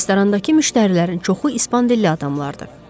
Restorandakı müştərilərin çoxu ispan dilli adamlar idi.